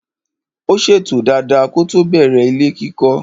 Ó ṣètò dada kótó bẹ̀rẹ̀ ilé kíkọ́.